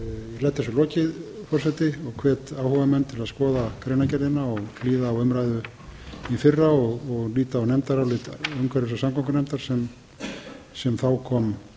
þessu lokið forseti og hvet áhugamenn til að skoða greinargerðina og hlýða á umræðu í fyrra og líta á nefndarálit umhverfis og samgöngunefndar sem þá kom